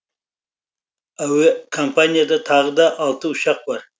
әуекомпанияда тағы да алты ұшақ бар